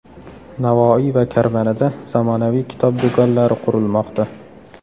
Navoiy va Karmanada zamonaviy kitob do‘konlari qurilmoqda.